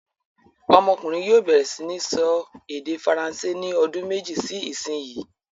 Ọmọkùnrin yóò bẹ̀rẹ̀ sí ní sọ èdè Faransé ní ọdún méjì sí ìsìnyín!